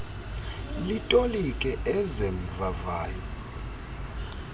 litolike eze mvavayo